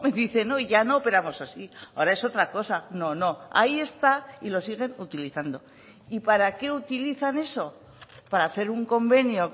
dice no ya no operamos así ahora es otra cosa no no ahí está y lo siguen utilizando y para qué utilizan eso para hacer un convenio